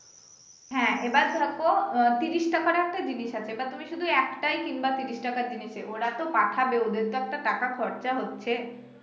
হ্যা এবার ধরো আহ ত্রিশ টাকার একটা জিনিস আছে বা তুমি শুধু একটাই কিনবা ত্রিশ টাকা জিনিসে ওরা তো পাঠাবে ওদের তো একটা টাকা খরচা হচ্ছে